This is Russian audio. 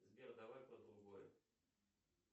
сбер давай про другое